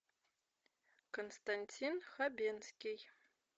константин хабенский